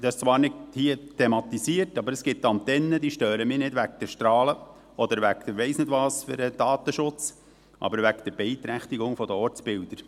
Dies wird zwar hier nicht thematisiert, aber es gibt Antennen, die mich nicht wegen der Strahlen oder sonst irgendetwas – Datenschutz – stören, aber wegen der Beeinträchtigung der Ortsbilder.